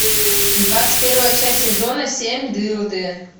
двадцать первая часть сезона семь дылды